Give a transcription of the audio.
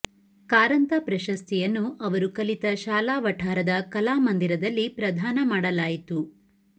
ಕಾರಂತ ಪ್ರಶಸ್ತಿಯನ್ನು ಅವರು ಕಲಿತ ಶಾಲಾ ವಠಾರದ ಕಲಾ ಮಂದಿರದಲ್ಲಿ ಪ್ರದಾನ ಮಾಡಲಾಯಿತು